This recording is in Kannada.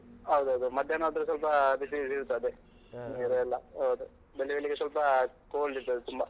ಹೌದೌದು ಮಧ್ಯಾಹ್ನ ಆದ್ರೆ ಸ್ವಲ್ಪ ಬಿಸಿ, ಬಿಸಿ ಇರ್ತದೆ. ನೀರೆಲ್ಲ ಹೌದು. ಬೆಳಿಬೆಳಿಗ್ಗೆ ಸ್ವಲ್ಪ cold ಇರ್ತದೆ ತುಂಬಾ.